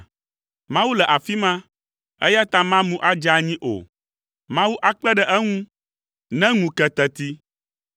Mawu le afi ma, eya ta mamu adze anyi o. Mawu akpe ɖe eŋu ne ŋu ke teti.